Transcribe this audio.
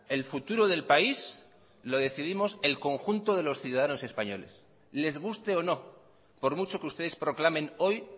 el futuro del país lo decidimos el conjunto de los ciudadanos españoles les guste o no por mucho que ustedes proclamen hoy